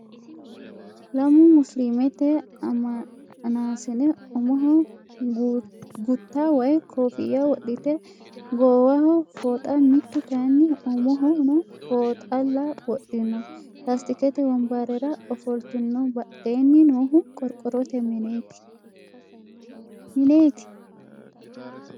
Lamu musiliimete ammanaasine umoho gutta woy koofiyya wodhite gowaaho fooxa mittu kayinni umohono fooxalla wodhino. Laastikete wonbarera ofoltino badheenni noohu qorqorrote mineeti?